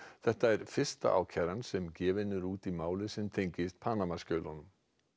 þetta er fyrsta ákæran sem gefin er út í máli sem tengist Panamaskjölunum